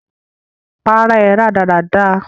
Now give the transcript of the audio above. Para ẹ rádaràda!